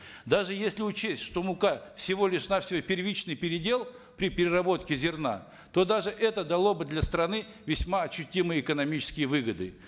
даже если учесть что мука всего лишь навсего первичный передел при переработке зерна то даже это дало бы для страны весьма ощутимые экономические выгоды